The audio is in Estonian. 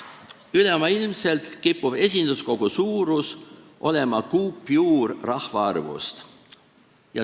Üle maailma kipub esinduskogu suurus olema kuupjuur rahvaarvust.